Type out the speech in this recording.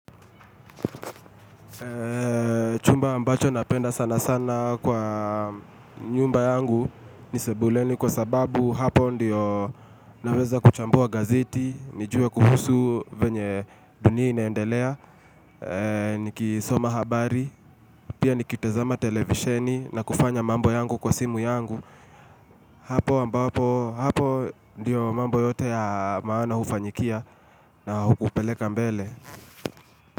Chumba ambacho napenda sana sana kwa nyumba yangu ni sebuleni kwa sababu hapo ndio naweza kuchambua gazeti nijue kuhusu venye dunia inendelea, nikisoma habari, pia nikitazama televisheni na kufanya mambo yangu kwa simu yangu Hapo ambapo, hapo ndio mambo yote ya maana hufanyikia na hupeleka mbele.